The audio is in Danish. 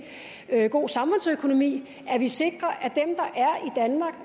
god samfundsøkonomi at vi sikrer